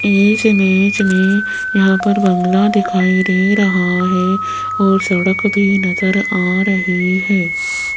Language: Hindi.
इस इमेज में यहाँ पर बांग्ला दिखाई दे रहा है और सड़क भी नजर आ रही है।